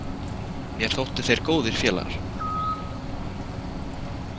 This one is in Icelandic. Mér þóttu þeir góðir félagar.